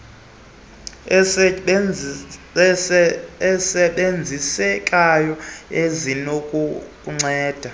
nezilumkiso ezisebenzisekayo ezinokukunceda